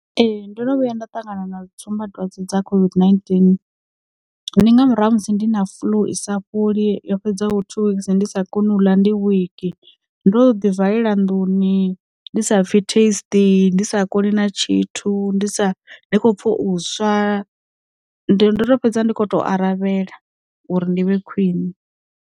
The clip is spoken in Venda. Ee ndo no vhuya nda ṱangana na tsumbadwadze dza COVID-19, ndi nga murahu ha musi ndi na fḽu i sa fholi yo fhedzaho two weeks ndi sa koni u ḽa ndi wiki, ndo ḓi valela nḓuni, ndi sa pfi taste, ndi sa koni na tshithu ndi sa, ndi khou pfa u swa, ndo fhedza ndi khou tou aravhela uri ndi vhe khwine.